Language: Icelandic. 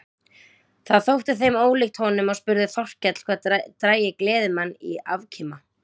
Það þótti þeim ólíkt honum og spurði Þórkell hvað drægi gleðimann í afkima.